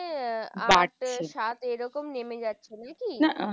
আহ আট সাত এরকম নেমে যাচ্ছে নাকি?